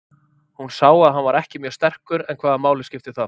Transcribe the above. Hún sá að hann var ekki mjög sterkur en hvaða máli skipti það?